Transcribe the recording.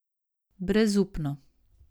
Brezupno.